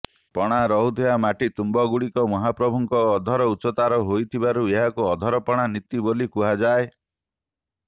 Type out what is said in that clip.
ପଣା ରହୁଥିବା ମାଟି ତୁମ୍ବଗୁଡ଼ିକ ମହାପ୍ରଭୁଙ୍କ ଅଧର ଉଚ୍ଚତାର ହୋଇଥିବାରୁ ଏହାକୁ ଅଧର ପଣା ନୀତି ବୋଲି କୁହାଯାଏ